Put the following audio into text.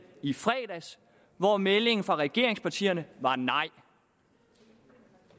i fredags hvor meldingen fra regeringspartierne var nej